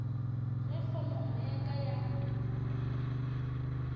ge kgonono ya ka ya